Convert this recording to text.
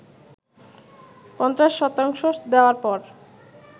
৫০ শতাংশ দেওয়ার পর